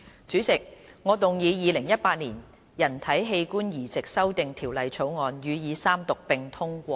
主席，我動議《2018年人體器官移植條例草案》予以三讀並通過。